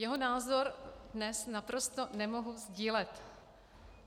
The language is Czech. Jeho názor dnes naprosto nemohu sdílet.